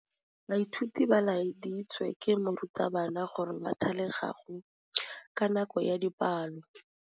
Baithuti ba laeditswe ke morutabana gore ba thale kagô ka nako ya dipalô.